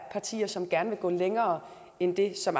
partier som gerne vil gå længere end det som